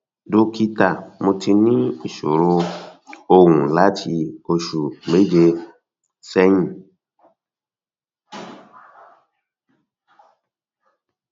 dókítà mo ti ní ìṣòro um ohùn láti oṣù méje um sẹyìn